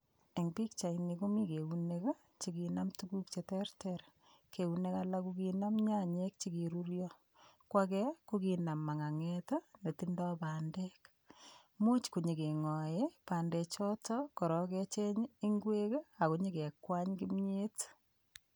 En pichaini komii eunek chekinam tukuk cheterter eunek alak ko kinam nyanyik chekironyo ko age ko kinam manganget netindo pandek. Much konyo kengoe pandek choton ak kecheng ingwek ak konyor kebwan kimiet.